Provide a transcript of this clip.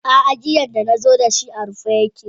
Aa giyan da nazo dashi a rufe yake.